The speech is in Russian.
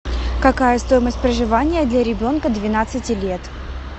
какая стоимость проживания для ребенка двенадцати лет